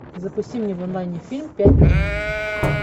запусти мне в онлайне фильм пять дней